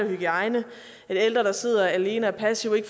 hygiejne eller ældre der sidder alene og passive i